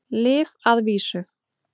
Lyf að vísu.